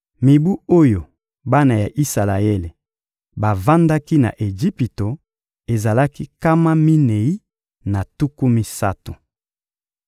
Mibu oyo bana ya Isalaele bavandaki na Ejipito ezalaki nkama minei na tuku misato.